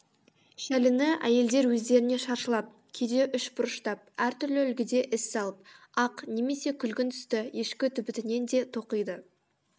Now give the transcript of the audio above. шәліні әйелдер өздеріне шаршылап кейде үшбұрыштап әртүрлі үлгіде із салып ақ немесе күлгін түсті ешкі түбітінен де тоқиды